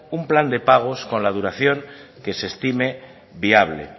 un plan de pagos con la duración que se estime viable